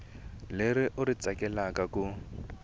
leri u ri tsakelaka ku